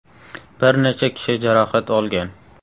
Bir necha kishi jarohat olgan.